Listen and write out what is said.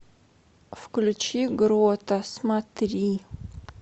включи грота смотри